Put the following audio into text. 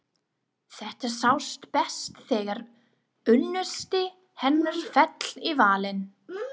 Þetta sást best þegar unnusti hennar féll í valinn.